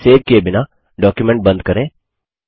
इसे सेव किये बिना डॉक्युमेंट बंद करें